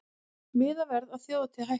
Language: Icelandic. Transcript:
Miðaverð á þjóðhátíð hækkar